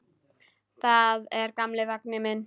Þetta er gamli vagninn minn.